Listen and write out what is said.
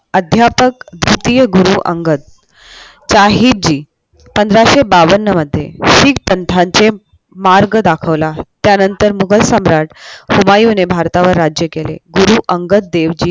अध्यापक द्वितीय गुरु अंगद साहेब जी पंधराशे बावन मध्ये सीख संघाचा मार्ग दाखवला त्यानंतर मुगल सम्राट हुमायुने भारतावर राज्य केले गुरु अंगद देवजी